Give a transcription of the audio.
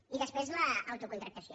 i després l’autocontractació